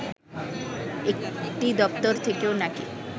একটি দপ্তর থেকেও নাকি